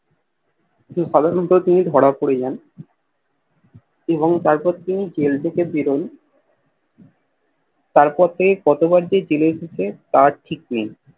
সবার মতো তিনি ধরা পরে যান এবং তারপর তিনি জেল থেকে বেরন তারপর থেকে কতবার জেল খাটে তার ঠিক নেই